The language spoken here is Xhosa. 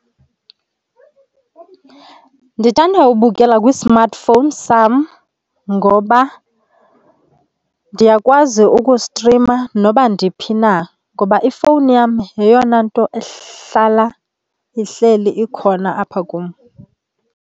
Ndithanda ubukela kwi-smartphone sam ngoba ndiyakwazi ukustrima noba ndiphi na. Ngoba ifowuni yam yeyona nto ehlala ihleli ikhona apha kum.